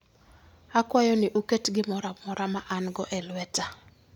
Akwayou ni uket gimoro amora ma an-go e lweta.